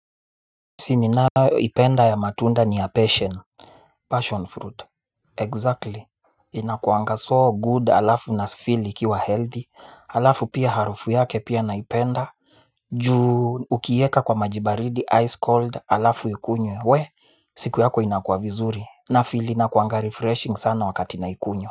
Sini nayo ipenda ya matunda ni ya passion Passion fruit Exactly. Inakuanga so good alafu na sifili kiwa healthy. Alafu pia harufu yake pia naipenda. Juu ukiweka kwa maji baridi ice cold alafu ukunywe wee. Siku yako inakuwa vizuri na feel inakuwanga refreshing sana wakati nakunywa.